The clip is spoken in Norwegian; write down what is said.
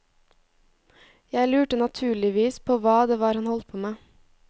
Jeg lurte naturligvis på hva det var han holdt på med.